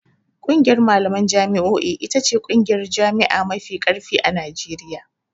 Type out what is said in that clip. ƙungiyar malaman jami'o'i ita ce ƙungiyar jami'a mafi ƙarfi a Najeriya.